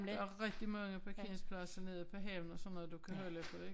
Der er rigtig mange parkeringpladser nede på havnen og sådan noget du kan holde på ik